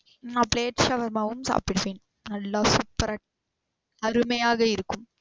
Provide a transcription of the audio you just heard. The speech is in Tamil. நா plate shawarma உம் சாப்டுவேன். நல்லா சூப்பர அருமையாக இருக்கும்.